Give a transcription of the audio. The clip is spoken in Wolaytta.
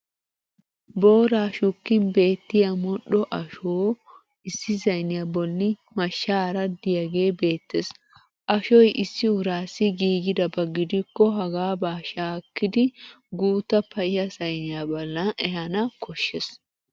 Booraa shukkin beettiya modhdho ashoo issi sayniya bolli mashshaara diyagee beettes. Ashoy issi uraasi giigidaba gidikko hagaaba shaakkidi guutta payya sayniya ballan ehana koshshes.